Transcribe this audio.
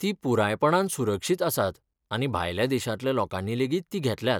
तीं पुरायपणान सुरक्षीत आसात आनी भायल्या देशांतल्या लोकांनीलेगीत तीं घेतल्यांत